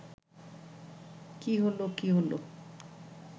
কী হল, কী হল